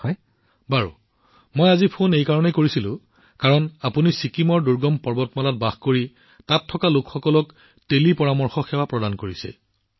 প্ৰধানমন্ত্ৰীঃ আচ্ছা মই ফোন কৰিছিলো কাৰণ আপুনি দূৰৱৰ্তী পৰ্বতমালাত বাস কৰা ছিকিমৰ লোকসকলক টেলিকমপ্লেচমেণ্টৰ মহান সেৱা আগবঢ়াইছে